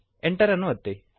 Enter ಅನ್ನು ಒತ್ತಿರಿ